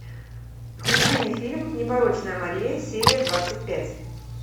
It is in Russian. включи мне фильм непорочная мария серия двадцать пять